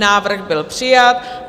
Návrh byl přijat.